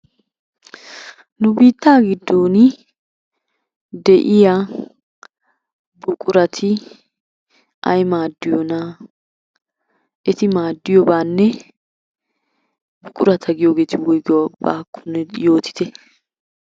Nu biittaa giddoni de'iyaa buquratti ay maadiyona? Etti maadiyobanne buqquratta giyoogeti woygiyoogakonne yootitte?